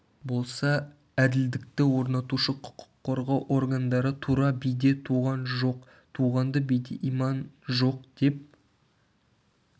болса әділдікті орнатушы құқық қорғау органдары тура биде туған жоқ туғанды биде иман жоқ деп